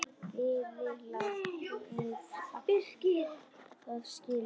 Bæði lið áttu það skilið.